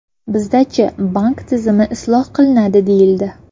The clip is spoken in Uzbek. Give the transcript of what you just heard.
Bizda-chi, bank tizimi isloh qilinadi deyildi.